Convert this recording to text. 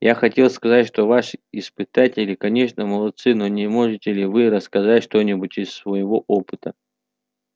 я хотел сказать что ваши испытатели конечно молодцы но не можете ли вы рассказать что-нибудь из своего опыта